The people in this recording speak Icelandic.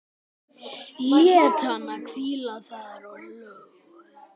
Lét hana hvíla þar og hló.